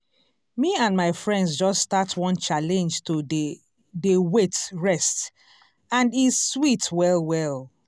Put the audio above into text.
me and my friends just start one challenge to dey dey wait rest and e sweet well well.